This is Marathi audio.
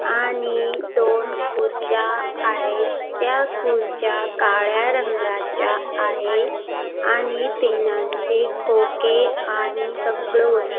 आणि दोन खुर्च्या आहेत त्या खुर्च्या काळ्या रंगाच्या आहे आणि पिनांचे खोके आणि सगळं वस् --